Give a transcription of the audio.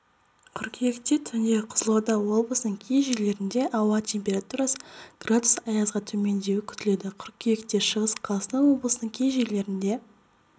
қыркүйекте түндеқызылорда облысының кей жерлерде ауа температурасы градус аязға төмендеуі күтіледі қыркүйектешығыс қазақстан облысының кей жерлерінде